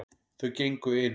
Þau gengu inn.